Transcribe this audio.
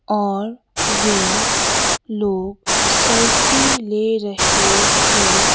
और वे लोग सेल्फी ले रहे हैं।